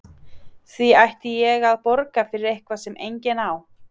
Því ætti ég að borga fyrir eitthvað sem enginn á?